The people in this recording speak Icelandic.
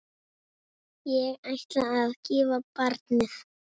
Ég ætla að gefa barnið.